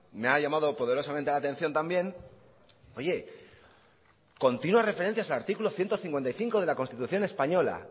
me ha llamado poderosamente la atención también oye continuas referencias al artículo ciento cincuenta y cinco de la constitución española